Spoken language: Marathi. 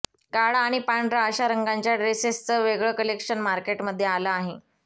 काळा आणि पांढरा अशा रंगांच्या ड्रेसेसचं वेगळं कलेक्शन मार्केटमध्ये आलं आहे